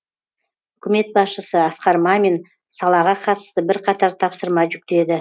үкімет басшысы асқар мамин салаға қатысты бірқатар тапсырма жүктеді